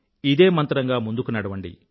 ఇదే మంత్రంగా ముందుకు నడవండి